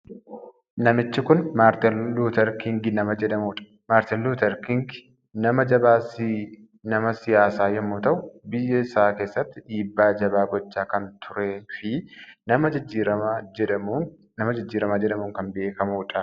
Namichi kun Maartin Luuter Kiing nama jedhamu dha. Maartin Luuter Kiing nama jabaa si nama siyaasaa yommuu ta'u, biyya isaa keessatti dhiibbaa jabaa gochaa kan turee fi nama jijjiiramaa jedhamuun kan beekamudha.